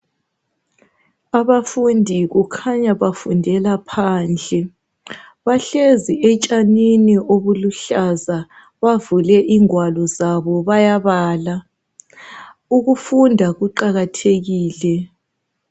Abafundi kukhanya bafundela phandle bahlezi etshanini obuluhlaza bavule ingwalo zabo bayabala. Ukufunda kuqakathekile.